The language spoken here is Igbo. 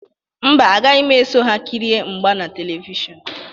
Mba, agaghị m eso ha kirie mgba na Televishọnụ.